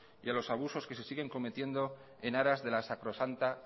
y a los abusos que se siguen cometiendo en aras de la sacrosanta